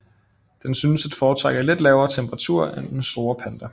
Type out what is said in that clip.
Den synes at foretrække lidt lavere temperaturer end den store panda